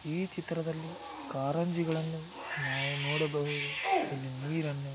ಈ ಚಿತ್ರದಲ್ಲಿ ಕಾರಂಜಿಗಳನ್ನು ನಾವು ನೋಡಬಹುದು.ಇಲ್ಲಿ ನೀರನ್ನು--